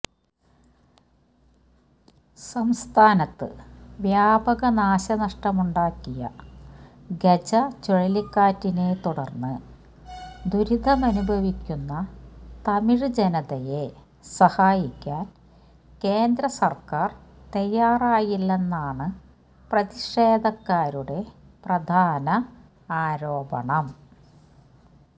സംസ്ഥാനത്ത് വ്യാപക നാശനഷ്ടമുണ്ടാക്കിയ ഗജ ചുഴലിക്കാറ്റിനെത്തുടര്ന്ന് ദുരിതമനുഭവിക്കുന്ന തമിഴ് ജനതയെ സഹായിക്കാന് കേന്ദ്ര സര്ക്കാര് തയാറായില്ലെന്നാണ് പ്രതിഷേധക്കാരുടെ പ്രധാന ആരോപണം